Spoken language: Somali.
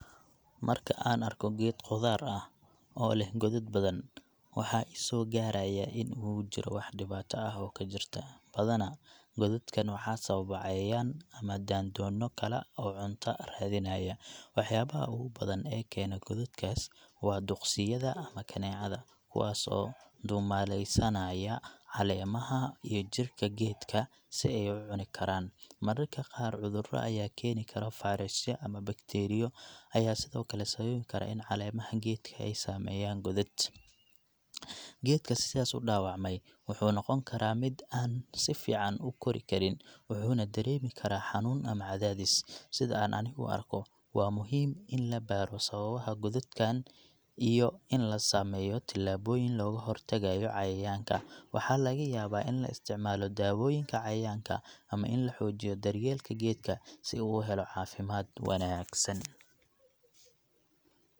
Marka aan arko geed khudaar ah oo leh godad badan, waxaa i soo gaaraya in uu jiro wax dhibaato ah oo ka jirta. Badanaa, godadkaan waxaa sababa cayayaan ama daandoonno kala oo cunto raadinaya. Waxyaabaha ugu badan ee keena godadkaas waa duqsiyada ama kaneecada, kuwaas oo ku duumaalaysanaya caleemaha iyo jirka geedka si ay u cuni karaan. Mararka qaar, cuduro ay keeni karo fayrasyo ama bakteeriyo ayaa sidoo kale sababi kara in caleemaha geedka ay sameeyaan godad. Geedka sidaas u dhaawacmay wuxuu noqon karaa mid aan si fiican u kori karin, wuxuuna dareemi karaa xanuun ama cadaadis. Sida aan anigu u arko, waa muhiim in la baaro sababaha godadkaan iyo in la sameeyo talaabooyin looga hortagayo cayayaanka. Waxaa laga yaabaa in la isticmaalo daawooyinka cayayaanka ama in la xoojiyo daryeelka geedka si uu u helo caafimaad wanaagsan.